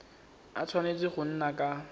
a tshwanetse go nna ka